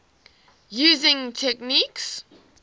using techniques